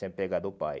Sempre apegada ao pai.